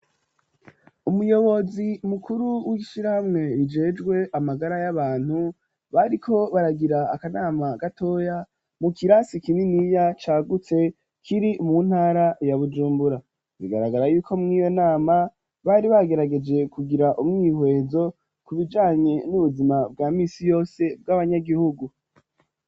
Umuyobozi mukuru w'ishirahamwe rijejwe amagara y'abantu bariko baragira akanama gatoya mu kirasi kininiya cyagutse kiri mu ntara ya bujumbura. Bigaragara yuko mw'iyo nama bari bagerageje kugira umwihwezo ku bijanye n'ubuzima bwa misi yose bw'abanyagihugu.